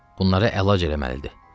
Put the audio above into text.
Bunlara əlac eləməlidir.